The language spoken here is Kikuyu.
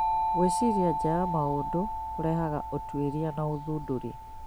Gwĩciria nja ya maũndũ kũrehaga ũtuĩria na ũthundũri